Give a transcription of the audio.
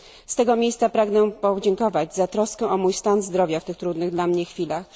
Z tego miejsca pragnę podziękować za troskę o mój stan zdrowia w tych trudnych dla mnie chwilach.